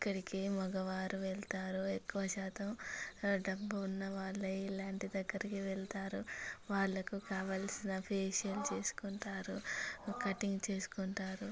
ఇక్కడికి మగవారు వెళ్తారుఎక్కువ శాతం డబ్బున్న వాళ్ళే ఇలాంటి దగ్గరికి వెళ్తారు వాళ్లకు కావాల్సిన ఫేషియల్ చేసుకుంటారు కటింగ్ చేసుకుంటారు.